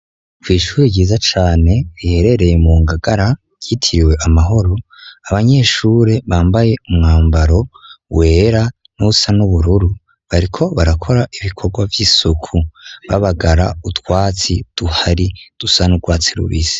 Kw'ishure, ryiza cane, riherereye mu Ngagara, ryitiriwe amahoro; abanyeshure, bambaye umwambaro wera, n'uwusa n'ubururu; bariko barakora ibikorwa vy'isuku, babagara utwatsi tuhari, dusa n'urwatsi rubisi.